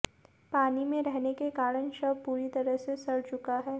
पानी में रहने के कारण शव पूरी तरह से सड़ चुका है